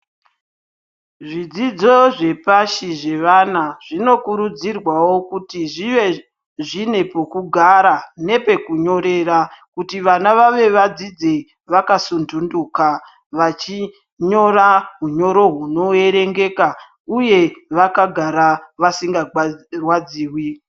Zvidzidzo zvepashi zvevana zvinokurudzirwawo kuti zvive zvine pekugara nepekunyorera kuti vana vave vadzidze vakasintunduka vachinyora unyoro hunoverengeka uye vakagara vasingarwadziwi.